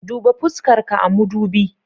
Duba fuskarka a mudubi.